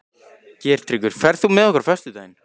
Geirtryggur, ferð þú með okkur á föstudaginn?